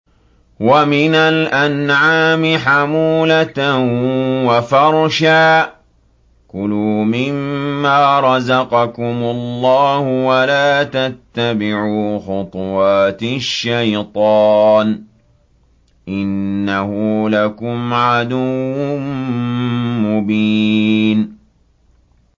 وَمِنَ الْأَنْعَامِ حَمُولَةً وَفَرْشًا ۚ كُلُوا مِمَّا رَزَقَكُمُ اللَّهُ وَلَا تَتَّبِعُوا خُطُوَاتِ الشَّيْطَانِ ۚ إِنَّهُ لَكُمْ عَدُوٌّ مُّبِينٌ